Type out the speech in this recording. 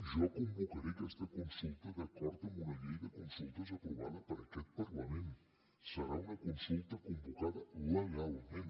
jo convocaré aquesta consulta d’acord amb una llei de consultes aprovada per aquest parlament serà una consulta convocada legalment